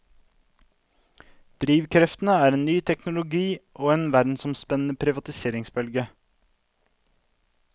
Drivkreftene er ny teknologi og en verdensomspennende privatiseringsbølge.